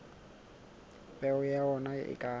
peo ya ona e ka